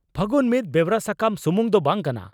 'ᱯᱷᱟᱹᱜᱩᱱ' ᱢᱤᱫ ᱵᱮᱣᱨᱟ ᱥᱟᱠᱟᱢ ᱥᱩᱢᱩᱝ ᱫᱚ ᱵᱟᱝ ᱠᱟᱱᱟ